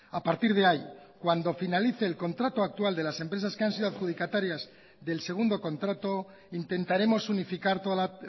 a partir de ahí cuando finalice el contrato actual de las empresas que han sido adjudicatarias del segundo contrato intentaremos unificar toda la